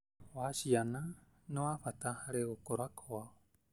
wa ciana nĩ gwa bata harĩ gũkũra kwao.